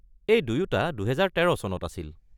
এই দুয়োটা ২০১৩ চনত আছিল।